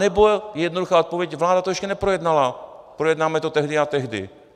Anebo jednoduchá odpověď: vláda to ještě neprojednala, projednáme to tehdy a tehdy.